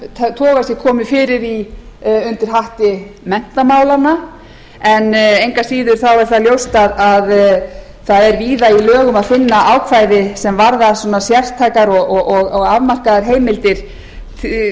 þessu toga ætti að koma fyrir undir hatti menntamála en engu að síður er ljóst að víða er í lögum að finna ákvæði sem varða sértækar og afmarkaðar heimildir